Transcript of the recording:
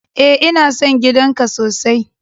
E, ina son gidan ka sosai.